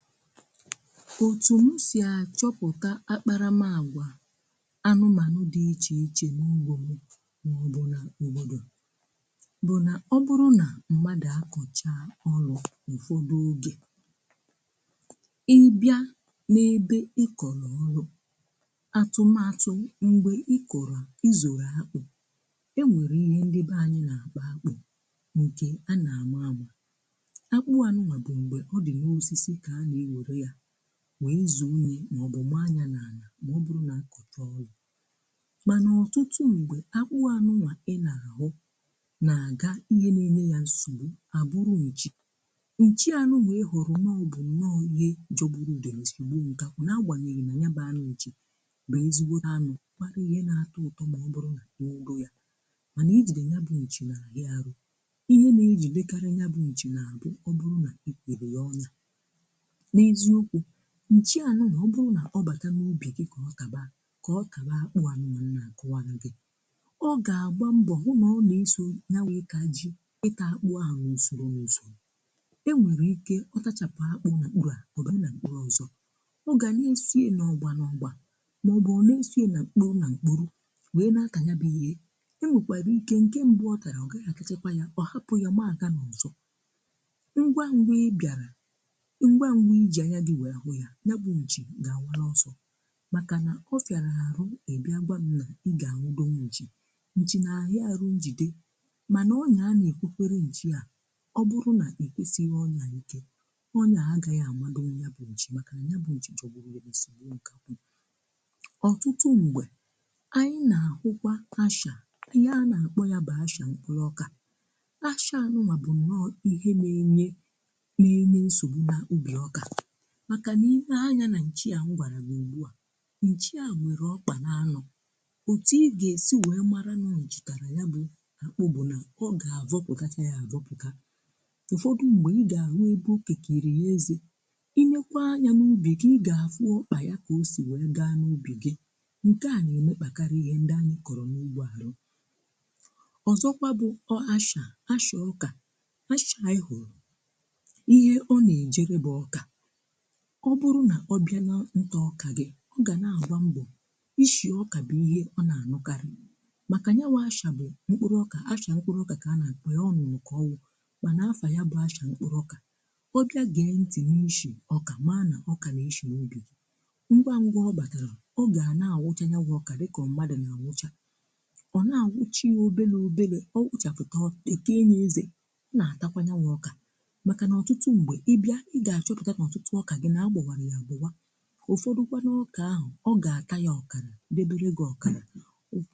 Otu m si achọpụta akparamàgwa anụmanụ̀ dị iche iche na ugbo mụ maọbụ na obodo bụ na ọ bụrụ na mmadụ̀ akọchaa ọlụ̀ ụfọdụ oge Ị bịa n’ebe ikọrọ ọlụ̀ atụmatụ mgbe ị kọrọ ịzọrọ akpụ̀ e nwere ihe ndị ba anyị̀ na-akpọ akpụ nke a na-ama ama. Akpụ anụnwà bụ̀ ṁgbe ọ dị na osisi ka a na-ewere ya wee zụ nri ma ọbụ maa ya n’ana maọbụrụ na-akọchọọlụ̀. Manà ọtụtụ mgbe akpụ anụnwà ị na-ahụ na-aga ihe nenye ya nsogbu abụrụ nchì. Nchì anụnwa ị hụrụ nnọọ bu nnọọ ihe jọgbụrụ udene sigbụo nkakwụ nagbanyeghì na nya banụ nchì bụ ezigbote anụ kpara ihe na-atọ ụtọ maọbụrụ nà ya, mana ị jide nya bụ nchì nahià arụ. Ihe na-e jidekarị nya bụ nchì na abụ ọbụrụ nà ị kụụrụ ya ọnyà. N'ezịokwu nchi ànụnwà ọ bụrụ nà ọ bàta n’ubì gị ka ọ tàbaa kà ọ tàbaa akpụ ànụnwà nnà kọwàrụ̀ gị ọ gà-àgba mbọ hụ nà ọ nà-eso ya bụ itá ji ità akpụ ahụ̀ n'ùsòrò n’usòrò. E nwèrè ike ọtachàpụ̀ akpụ na mkpúrú à ọgaa nà mkpúrú n’ọzọ. Ọ gà na-esoye n'ọgbà n’ọgbà màọbụ̀ ọ na-esoye nà mkpúrú nà mkpúrú wee nà atà nya bụ ihe. E nwekwàrà ike nke mbụ ọ tàrà ọ gàghị àtáchákwá yà ọ hapụ̀ yà mmaàga n’ọzọ. Ngwa ngwa ịbịara ngwa ngwa ị ji anya gị wee hụ ya, ya bụ nchi ga-awarọsọ̀ makà nà o fịarà arụ̀ ịbịà gwam nà ịgaa anwụdọnwú nchi. Nchi nà ahịà arụ̀ njìde manà ọnya a na-ekwukwere nchi à ọ bụrụ̀ nà ekwesighì ọnya ike ọnya a agaghị̀ amadonwú ya bụ nchi makà nà nya bụ nchi jọgbụrụ udene sigbụo nkakwụ. Ọtụtụ ṁgbè anyị̀ nà akwụkwà ashà ihe a nà-akpọ̀ yà bụ̀ ashà mkpụ̀rụ̀ ọkà. Áshà anụ̀nwà bụ̀ nnọọ̀ ihe na-enye na-enye nsogbu n’ụbì ọkà a, makà niine anya na-nchi a m gwarà gị ugbu a, nchi à nwere ọkpà na-anọ̀. Otù ị ga-esi wee marà nọọ nchi tàrà yà bụ akpụ bụ̀ nà ọ ga-avọpụkacha yà avọpụkà. Ụfọdụ̀ mgbe ị ga-ahụ ebe o kekere ya ézé. Ị nekwaa anyà n’ubì gị ị ga-afụ ọkpà ya ka o si wee gaa n’ubì gị nke à na-emekpakarị ihe ndị anyị kọrọ n’ubì ahụ̀. Ọzọkwà bụ̀ ọ ashà ashà ọkà, ashà a ị hụrụ̀ ihe ọ na-ejere bụ̀ ọkà ọ bụrụ nà ọbịà na ntọọkà gị̀ ọ gà na-àgba mbọ̀ ishì ọkà bụ̀ ihe ọ na-ànụkarị̀ màkà nyanwu ashà bụ̀ mkpụrụ̀ ọkà ashà mkpụrụ̀ ọkà kà a na-akpọ ya ọọ nnụnụ̀ kà ọ wụ̀ mà na-afà ya bụ̀ ashà mkpụrụ̀ ọkà ọ bịà gee ntị̀ nụ ịshì ọkà maa nà ọkà nà-eshì ubì gị, ngwá ngwá ọ bàtàrà ọ gà na-ànwụchaa ya bụ ọkà dịkà ọ̀ọ mmàdụ̀ na-ànwụchà. Ọ na-ànwụchà ya obele obele, ọ wụchàkatà o kee ya ézé, ọ na-àtakwà nyawu ọkà. Maka n'ọtụtụ mgbe ị bịa ị ga-achọpụta na ọtụtụ ọka gị na ágbòwara ya àgbòwa. Ụfọdụ kwa ndị ọkà ahụ̀ ọ ga-atara gị ọkàrà debere gị ọkàrà.